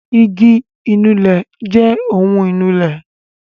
igi ìnulẹ̀ jẹ ohun ìnulẹ̀